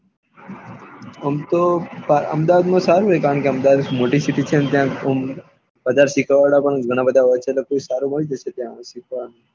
અમ તો અમદાવાદ સારું રેહ કારણ કે અમદાવાદ મોટી સીટી છે અને ત્યાં અમ વધાર સીખવા વાળા પણ ઘણા બધા હોય છે કે એ લોકો સારું મળી જશે